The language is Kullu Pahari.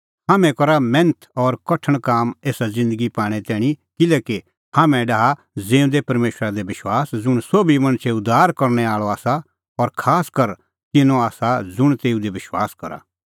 हाम्हैं करा मैन्थ और कठण काम एसा ज़िन्दगी पाणें तैणीं किल्हैकि हाम्हैं डाहा ज़िऊंदै परमेशरा दी आशा ज़ुंण सोभी मणछो उद्धार करनै आल़अ आसा और खासकर तिन्नों आसा ज़ुंण तेऊ दी विश्वास करा